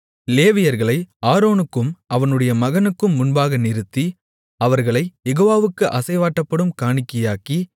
லேவியர்களை ஆரோனுக்கும் அவனுடைய மகனுக்கும் முன்பாக நிறுத்தி அவர்களைக் யெகோவாவுக்கு அசைவாட்டப்படும் காணிக்கையாக்கி